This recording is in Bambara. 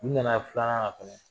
U nana ye filanan na fɛnɛ